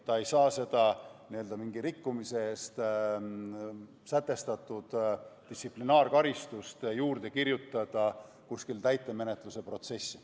Ta ei saa seda mingi rikkumise eest sätestatud distsiplinaarkaristust juurde kirjutada kuskile täitemenetluse protsessi.